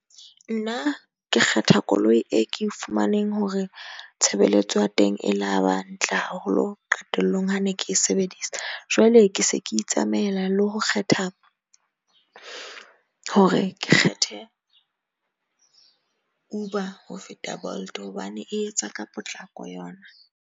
Nna ke kgetha koloi e ke e fumaneng hore tshebeletso ya teng e la ba ntle haholo, qetellong ha ne ke sebedisa. Jwale ke se ke itsamaela le ho kgetha, hore ke kgethe Uber ho feta Bolt hobane e etsa ka potlako yona.